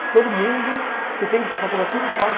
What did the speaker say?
Se todo mundo, se tem que passar por aquilo, passa.